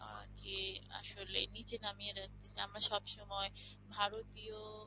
আহ যে আসলে নিচে নামিয়ে আমরা সবসময় ভাবি ভারতীয়